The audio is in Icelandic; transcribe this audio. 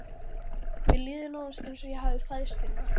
Mér líður nánast eins og ég hafi fæðst hérna.